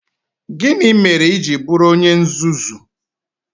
Gịnị mere i ji bụrụ onye nzuzu?